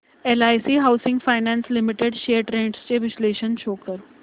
LIC housing finance limited shares trends चे विश्लेषण show कर